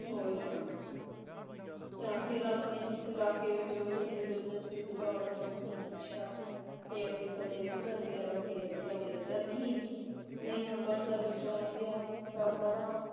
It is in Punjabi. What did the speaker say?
ਹੋ ਈ ਜਾਣਾ ਤਾਂ ਫਿਰ ਆਪਣੇ ਇਲਾਕੇ ਵਿਚ ਉਸਦੀ ਦਿਲਚਸਪੀ ਵਧਾਉਣ ਲਈ ਉਸਨੂੰ ਪੁੱਛਿਆ ਕਿ ਅੱਗੇ ਕਦੇ ਉੱਧਰ ਗਿਆ ਕਿ ਕਦੇ ਇੱਧਰ ਨਹੀਂ ਨਹੀਂ ਅੰਬਰਸਰ ਵਿਚੋਂ ਲੰਘਿਆ ਤਾਂ ਪਤਾ